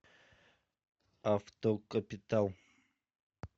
автокапитал